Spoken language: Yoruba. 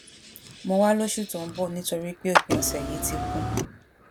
mọ wa lóṣù tó ń bọ nitori pé òpin ọsẹ yìí ti kún